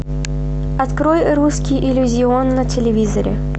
открой русский иллюзион на телевизоре